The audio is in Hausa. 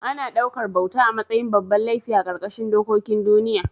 Ana ɗaukar bauta a matsayin babban laifi a ƙarƙashin dokokin duniya